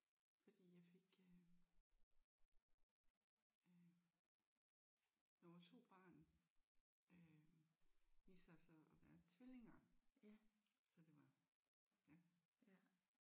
Fordi jeg fik øh øh nummer 2 barn øh viste sig så at være tvillinger så det var ja